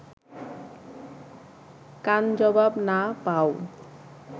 কান জবাব না পাও